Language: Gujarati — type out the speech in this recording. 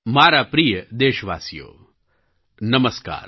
મારા પ્રિય દેશવાસીઓ નમસ્કાર